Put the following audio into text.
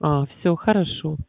аа все хорошо